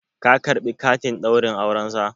ka karɓi katin Ɗaurin aurensa?